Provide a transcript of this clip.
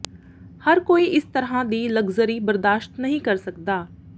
ਹਰ ਕੋਈ ਇਸ ਤਰ੍ਹਾਂ ਦੀ ਲਗਜ਼ਰੀ ਬਰਦਾਸ਼ਤ ਨਹੀਂ ਕਰ ਸਕਦਾ